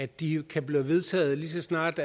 de kan blive vedtaget lige så snart